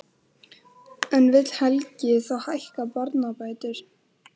En vill Helgi þá hækka barnabætur?